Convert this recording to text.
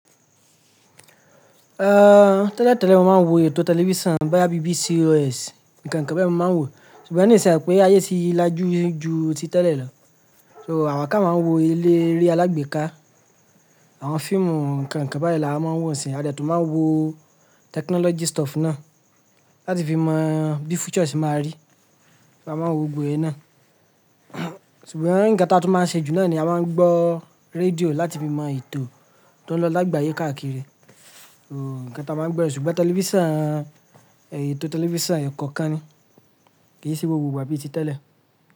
Ehn, tẹ́lẹ̀ tẹ́lẹ̀ ni mo máa ń wo ètò tẹlifísàn bóyà BBC ò sì, nǹkan kankan bẹ́ẹ̀ ni mo máa ń wò. Sùgbọ́n ní ìṣẹ́ àpèé ayé ti lajú ju ti tẹ́lẹ̀ lọ. So, àwakà máa ń wo ilé eré alágbèéká, àwọn fíìmù nǹkan kankan bẹ́ẹ̀ la máa ń wò sí. A dẹ tó máa ń wo technology stuff náà láti fi mọ bí future ṣí máa rí. A máa ń wo gbogbo èé náà. Sùgbọ́n nǹkan ta tá tu máa ń ṣe jù lọ ni a máa ń gbọ́ rédíò láti fi mọ ètò tó ń lọ lágbàáyé káàkiri. So nǹkan ta máa ń gbọ́ rẹ̀, sùgbọ́n tẹlifísàn, ètò tẹlifísàn kankan ni. Kì í ṣe gbogbo gbà bí i ti tẹ́lẹ̀